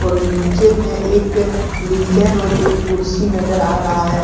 और नीचे में एक लिसन और एक कुर्सी नज़र आ रहा है।